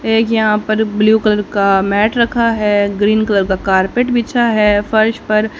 एक यहां पर ब्लू कलर का मैट रखा है ग्रीन कलर का कारपेट बिछा है फर्श पर--